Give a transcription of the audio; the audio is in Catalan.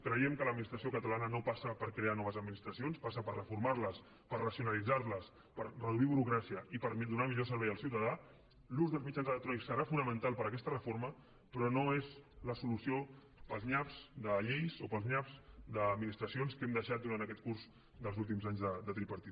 creiem que l’administració catalana no passa per crear noves administracions passa per reformar les per racionalitzar les per reduir burocràcia i per donar millor servei al ciutadà l’ús dels mitjans electrònics serà fonamental per a aquesta reforma però no és la solució per als nyaps de lleis o per als nyaps d’administracions que hem deixat durant aquest curs dels últims anys de tripartit